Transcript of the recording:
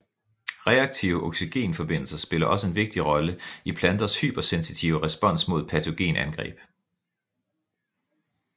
Reaktive oxygenforbindelser spiller også en vigtig rolle i planters hypersensitive respons mod patogenangreb